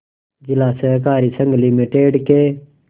जिला सहकारी संघ लिमिटेड के